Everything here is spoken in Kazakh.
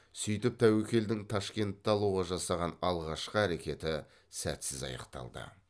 сөйтіп тәуекелдің ташкентті алуға жасаған алғашқы әрекеті сәтсіз аяқталды